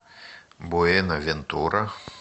буэнавентура